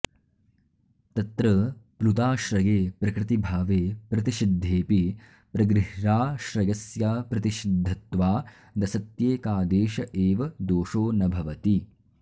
तत्र प्लुताश्रये प्रकृतिभावे प्रतिषिद्धेऽपि प्रगृह्राश्रयस्याप्रतिषिद्धत्वादसत्येकादेश एव दोषो न भवति